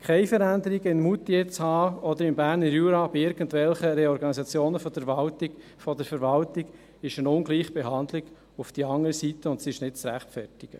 Keine Veränderung in Moutier oder im Berner Jura zu haben, bei irgendwelchen Reorganisationen der Verwaltung, ist eine Ungleichbehandlung auf die andere Seite, und sie ist nicht zu rechtfertigen.